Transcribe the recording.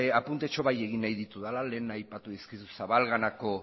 apuntetxo bai egin nahi ditudala lehen aipatu dizkizut zabalganako